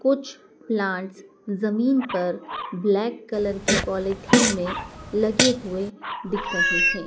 कुछ प्लांट्स जमीन पर ब्लैक कलर की पॉलिथीन में लगे हुए दिख रहे हैं।